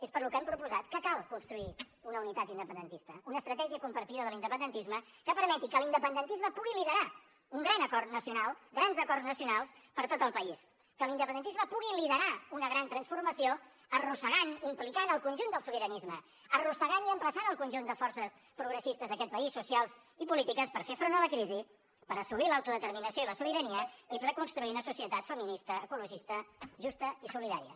és pel que hem proposat que cal construir una unitat independentista una estratègia compartida de l’independentisme que permeti que l’independentisme pugui liderar un gran acord nacional grans acords nacionals per tot el país que l’independentisme pugui liderar una gran transformació arrossegant implicant el conjunt del sobiranisme arrossegant i emplaçant el conjunt de forces progressistes d’aquest país socials i polítiques per fer front a la crisi per assolir l’autodeterminació i la sobirania i per a construir una societat feminista ecologista justa i solidària